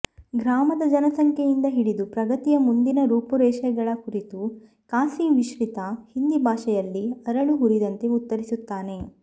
ಗ್ರಾಮದ ಜನಸಂಖ್ಯೆಯಿಂದ ಹಿಡಿದು ಪ್ರಗತಿಯ ಮುಂದಿನ ರೂಪುರೇಷೆಗಳ ಕುರಿತು ಖಾಸಿ ಮಿಶ್ರಿತ ಹಿಂದಿ ಭಾಷೆಯಲ್ಲಿ ಅರಳು ಹುರಿದಂತೆ ಉತ್ತರಿಸುತ್ತಾನೆ